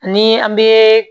Ni an bɛ